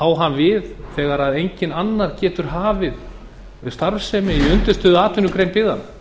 á hann við þegar enginn annar getur hafið starfsemi í undirstöðuatvinnugrein byggðanna